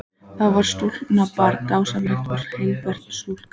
Það er stúlkubarn, dásamleg og heilbrigð stúlka.